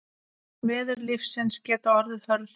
Veður lífsins geta orðið hörð.